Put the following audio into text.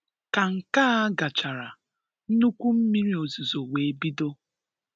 Ka nke á gachara, nnukwu mmiri ozizo wee bido